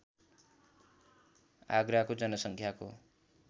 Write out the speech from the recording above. आगराको जनसङ्ख्याको